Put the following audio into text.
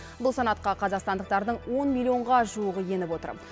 бұл санатқа қазақстандықтардың он миллионға жуығы еніп отыр